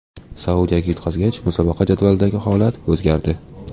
Saudiyaga yutqazgach, musobaqa jadvalidagi holat o‘zgardi.